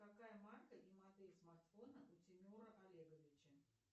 какая марка и модель смартфона у тимура олеговича